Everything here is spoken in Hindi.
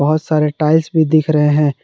बहोत सारे टाइल्स भी दिख रहे हैं।